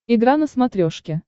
игра на смотрешке